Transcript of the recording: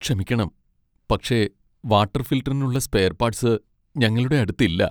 ക്ഷമിക്കണം, പക്ഷേ വാട്ടർ ഫിൽട്ടറിനുള്ള സ്പെയർ പാർട്സ് ഞങ്ങളുടെ അടുത്ത് ഇല്ല .